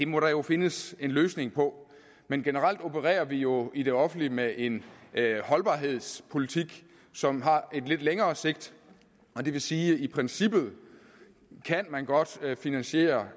må der jo findes en løsning på men generelt opererer vi jo i det offentlige med en holdbarhedspolitik som har lidt længere sigt og det vil sige at i princippet kan man godt finansiere